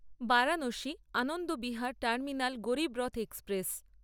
Varanasi Anand Vihar terminal Garib Rath express